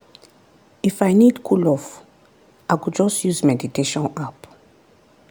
if i need cool off i go just use meditation app.